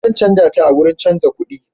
Zan canja ta a wurin canja kudi.